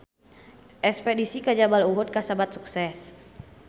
Espedisi ka Jabal Uhud kasebat sukses